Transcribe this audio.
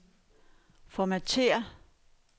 formatér